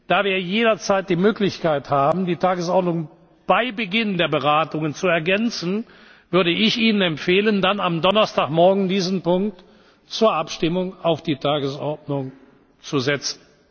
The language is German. Da wir jederzeit die Möglichkeit haben, die Tagesordnung bei Beginn der Beratungen zu ergänzen, würde ich Ihnen empfehlen, dann am Donnerstagmorgen diesen Punkt zur Abstimmung auf die Tagesordnung zu